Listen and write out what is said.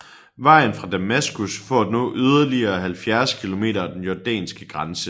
Vejen fra Damaskus for at nå yderligere 70 kilometer af den jordanske grænse